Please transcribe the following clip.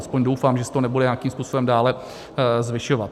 Aspoň doufám, že se to nebude nějakým způsobem dále zvyšovat.